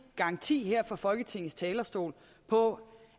garanti her fra folketingets talerstol på